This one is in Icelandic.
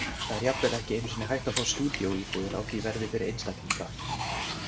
Það er jafnvel ekki einu sinni hægt að fá stúdíóíbúðir á því verði fyrir einstaklinga.